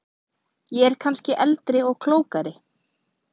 Ég er kannski eldri og klókari.